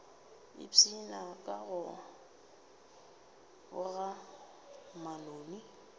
ipshina ka go boga manoni